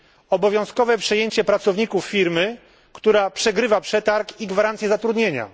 obowiązkowe przejęcie pracowników firmy, która przegrywa przetarg i gwarancję zatrudnienia.